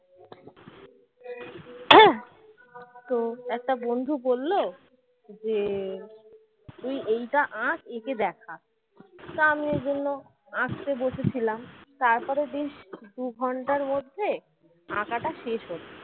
তো একটা বন্ধু বলল যে তুই এইটা আঁক একে দেখা তা আমি বললাম আঁকতে বসে ছিলাম তারপরে দিন দুঘণ্টার মধ্যে আকাটা শেষ হলো।